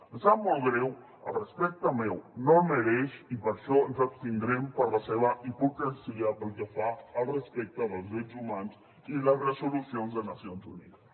em sap molt greu el respecte meu no el mereix i per això ens abstindrem per la seva hipocresia pel que fa al respecte dels drets humans i les resolucions de nacions unides